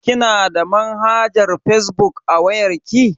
Kina da manhajar fazbuk a wayar ki?